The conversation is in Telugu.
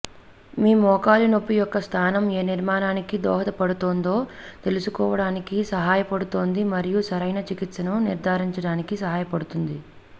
మీ మోకాలి నొప్పి యొక్క స్థానం ఏ నిర్మాణానికి దోహదపడుతుందో తెలుసుకోవడానికి సహాయపడుతుంది మరియు సరైన చికిత్సను నిర్ధారించడానికి సహాయపడుతుంది